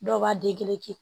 Dɔw b'a